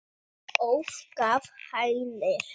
óð gaf Hænir